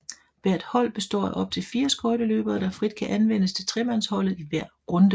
Hvert hold består af op til 4 skøjteløbere der frit kan anvendes til tremandsholdet i hver runde